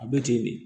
A bɛ ten de